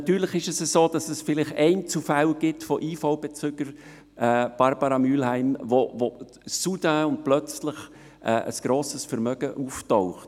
Natürlich gibt es Einzelfälle von IV-Bezügern – Grossrätin Mühlheim –, bei denen plötzlich ein grosses Vermögen auftaucht.